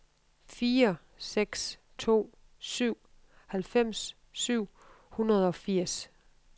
fire seks to syv halvfems syv hundrede og firs